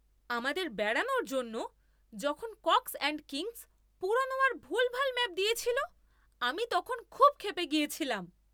আমাদের বেড়ানোর জন্য যখন কক্স অ্যান্ড কিংস পুরনো আর ভুলভাল ম্যাপ দিয়েছিল আমি তখন খুব ক্ষেপে গেছিলাম।